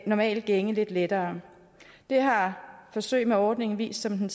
normal gænge lidt lettere det har forsøg med ordningen vist som den